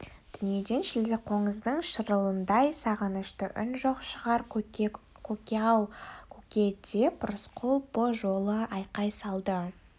дүниеде шілдеқоңыздың шырылындай сағынышты үн жоқ шығар көке ау көке деп рысқұл бұ жолы айқай салды